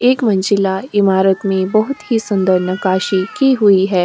एक मंजिला ईमारत में बहुत ही सुंदर नक्काशी की हुई है।